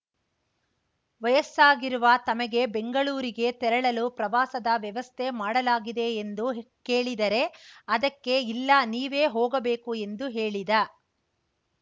ವಯಸ್ಸಾಗಿರುವ ತಮಗೆ ಬೆಂಗಳೂರಿಗೆ ತೆರಳಲು ಪ್ರವಾಸದ ವ್ಯವಸ್ಥೆ ಮಾಡಲಾಗಿದೆ ಎಂದು ಕೇಳಿದರೆ ಅದಕ್ಕೆ ಇಲ್ಲ ನೀವೇ ಹೋಗಬೇಕು ಎಂದು ಹೇಳಿದ